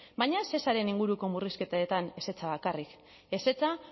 baina ez shesaren inguruko murrizketetan ezetza bakarrik ezetza